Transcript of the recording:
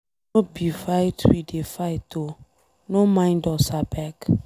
No be fight we dey fight oo. No mind us abeg.